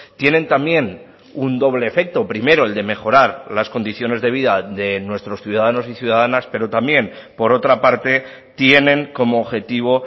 tienen también un doble efecto primero el de mejorar las condiciones de vida de nuestros ciudadanos y ciudadanas pero también por otra parte tienen como objetivo